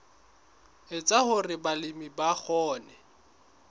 etsa hore balemi ba kgone